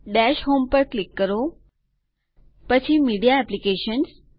dash home પર click કરો પછી મીડિયા એપ્લીકેશન્સ